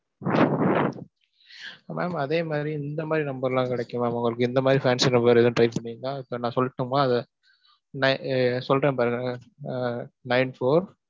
Mam அதே மாதிரி இந்த மாதிரி number லாம் கெடைக்கும் mam உங்களுக்கு, இந்த மாதிரி fancy number வேணா try பண்றீங்களா? இப்ப நான் சொல்லட்டுமா அத? நான் சொல்றேன் பாருங்க ஆஹ் nine-four